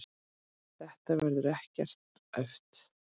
Þetta verður ekkert æft.